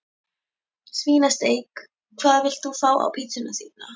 Svínasteik Hvað vilt þú fá á pizzuna þína?